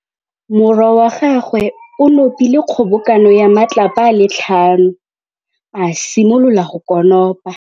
Morwa wa gagwe o nopile kgobokanô ya matlapa a le tlhano, a simolola go konopa.